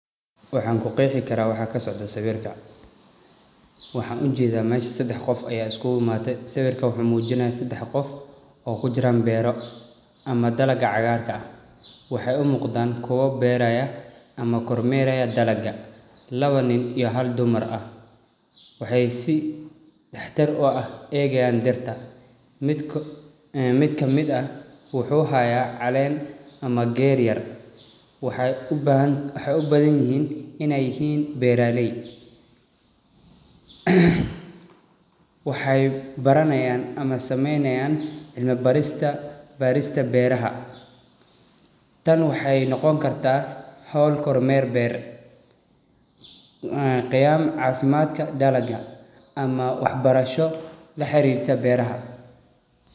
Waxaan ku qeexi kara waxa kasocda sawirkan waxaan u jeeda mesha sadax qof aya iskugu imaade sawirkan waxuu muujinaya sadax qof oo kujiran beero ama dalaga cagaarka ah. Waxay u muqdan kuwa beeraya ama kormeerayo dalaga laba nin iyo hal dumar ah waxay si taxadar oo ah eegayan dhirta mid amid ah waxuu haya caleen ama geed yar waxay u badanyihiin inay yihiin beeralay. waxay baranayan ama samaynayan cilmi baarista beeraha tan waxay noqon karta hawl kormer beer ee qiyam caafimadka dalaga ama waxbarasho laxariirto beeraha.